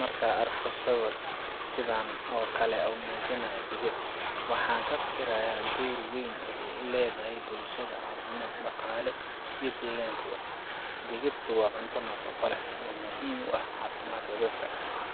Markaan arko sawir sida kan oo kale ah oo muujinaya digir, waxaan ka fikirayaa door weyn oo ay ku leedahay bulshada – caafimaad, dhaqaale, iyo deegaanba. Digirtu waa cunto nafaqo badan leh oo muhiim u ah caafimaadka dadka.